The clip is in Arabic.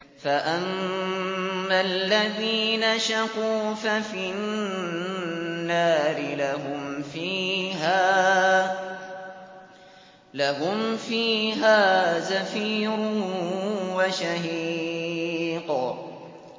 فَأَمَّا الَّذِينَ شَقُوا فَفِي النَّارِ لَهُمْ فِيهَا زَفِيرٌ وَشَهِيقٌ